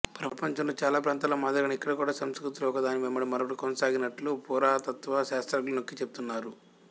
ప్రపంచంలో చాలా ప్రాంతాల్లో మాదిరిగానే ఇక్కడ కూడా సంస్కృతులు ఒకదాని వెంబడి మరొకటి కొనసాగినట్లు పురాతత్వ శాస్త్రజ్ఞులు నొక్కి చెబుతున్నారు